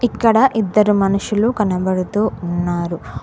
ఇక్కడ ఇద్దరు మనుషులు కనబడుతూ ఉన్నారు.